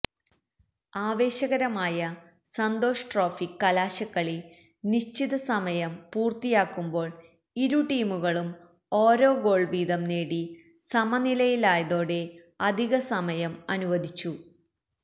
ആവേശകരമായ സന്തോഷ് ട്രോഫി കലാശക്കളി നിശ്ചിത സമയം പൂര്ത്തിയാകുമ്പോള് ഇരു ടീമുകളും ഒരോഗോള് വീതം നേടി സമനിലയിലായതോടെ അധികസമയം അനുവദിച്ചു